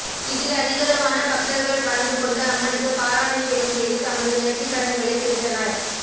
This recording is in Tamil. இதில் அதிகளவான பக்தர்கள் கலந்துக்கொண்டு அம்மனுக்கு பாலாபிஷேகம் செய்து தமது நேர்த்திக்கடன்களைத் தீர்த்தனர்